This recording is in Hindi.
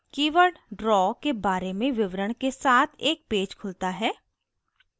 कीवर्ड draw के बारे में विवरण के साथ एक पेज खुलता है